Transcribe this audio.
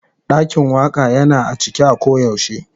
Dakin Waka Yana a cike a koyaushe.